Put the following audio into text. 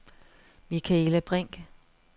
Michaela Brinch